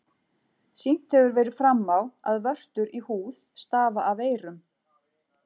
Sýnt hefur verið fram á, að vörtur í húð stafa af veirum.